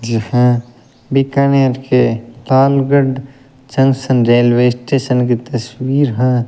यह बीकानेर के Talgarh junction railway station की तस्वीर है।